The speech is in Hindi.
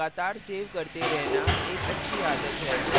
files को लगातार सेव करते रहना एक अच्छी आदत है